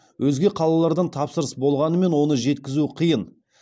өзге қалалардан тапсырыс болғанымен оны жеткізу қиын